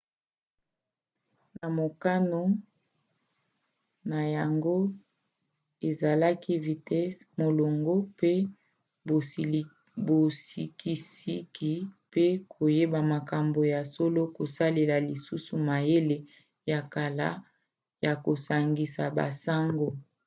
mokano na yango ezalaki vitese molongo mpe bosikisiki mpe koyeba makambo ya solo kosalela lisusu mayele ya kala ya kosangisa basango